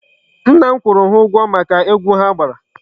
Nna m kwụrụ ha ụgwọ maka egwu ha gbara.